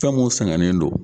Fɛn mun sɛgɛnnen don